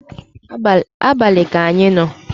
abali ka anyị no